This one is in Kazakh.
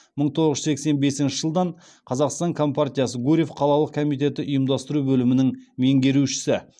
мың тоғыз жүз сексен бесінші жылдан қазақстан компартиясы гурьев қалалық комитеті ұйымдастыру бөлімінің меңгерушісі